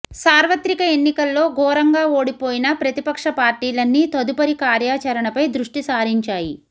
సార్వత్రిక ఎన్నికల్లో ఘోరంగా ఓడిపోయిన ప్రతిపక్ష పార్టీలన్నీ తదుపరి కార్యాచరణపై దృష్టి సారించాయి